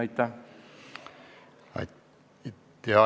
Aitäh!